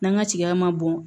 N'an ka tiga ma bɔn